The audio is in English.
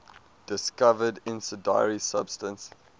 discovered incendiary substance